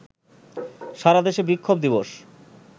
সারা দেশে বিক্ষোভ দিবস